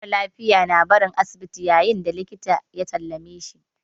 Mara lafiya na barin asibiti ne yayin da likita ya sallame shi.